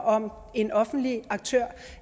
om en offentlig aktør